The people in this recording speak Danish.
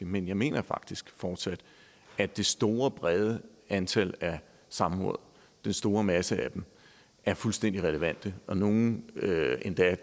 men jeg mener faktisk fortsat at det store brede antal af samråd den store masse af dem er fuldstændig relevante nogle er endda